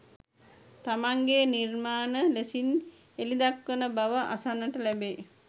තමන්ගේ නිර්මාණ ලෙසින් එළි දක්වන බව අසන්නට ලැබෙයි.